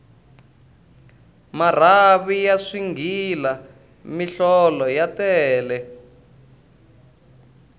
marhavi ya swighila mihlolo ta tele